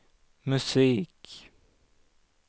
musik